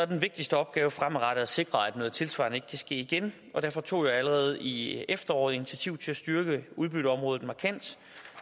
den vigtigste opgave fremadrettet at sikre at noget tilsvarende ikke kan ske igen og derfor tog jeg allerede i efteråret initiativ til at styrke udbytteområdet markant